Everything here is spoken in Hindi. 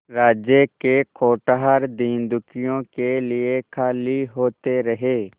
राज्य के कोठार दीनदुखियों के लिए खाली होते रहे